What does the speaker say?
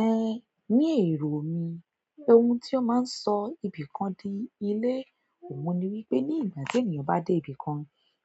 Eh, ní èrò mi, ohun tí ó máa ń sọ ibìkan di ilé, òun ni wípé ní ìgbà tí ènìyàn bá dé ibìkan,